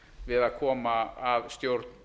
við að koma að stjórn